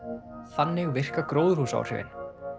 þannig virka gróðurhúsaáhrifin